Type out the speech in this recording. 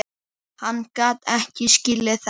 Hann gat ekki skilið þetta.